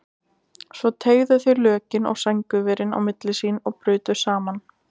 Svo teygðu þau lökin og sængurverin á milli sín og brutu saman.